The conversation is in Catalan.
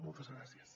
moltes gràcies